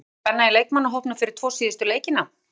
Er mikil spenna í leikmannahópnum fyrir tvo síðustu leikina?